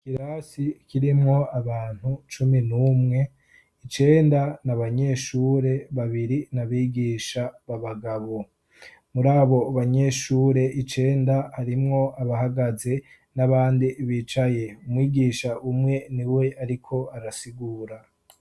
Ikirasi kirimwo abantu cumi n'umwe icenda, n'abanyeshure babiri n'abigisha b'abagabo. Muri abo banyeshure icenda, harimwo abahagaze n'abandi bicaye umwigisha umwe ni we ariko arasigura.